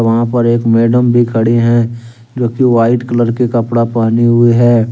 यहां पर एक मैडम भी खड़ी हैं जो की व्हाइट कलर के कपड़ा पहनी हुई है।